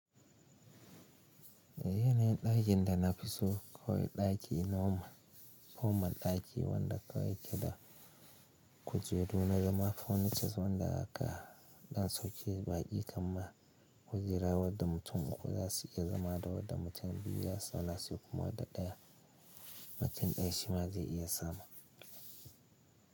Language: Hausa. Yayin da ɗakin da na fi so kawai ɗaki noma, normal ɗaki wanda kowace da kujeru na dama furnitures wanda haka ɗan sauke baƙi kamma kujera wadda mutum uku za su iya zama da wadda mutum biyu ya tsallase kuma wadda ɗaya cikin ɗan shi ma zai iya zama.